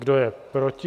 Kdo je proti?